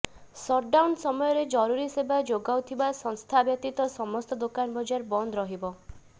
shutdown ସମୟରେ ଜରୁରୀ ସେବା ଯୋଗାଉଥିବା ସଂସ୍ଥା ବ୍ୟତୀତ ସମସ୍ତ ଦୋକାନ ବଜାର ବନ୍ଦ ରହିବ